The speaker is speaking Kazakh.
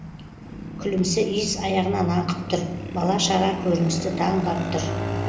күлімсі иіс аяғынан аңқып тұр бала шаға көріністі таң ғап тұр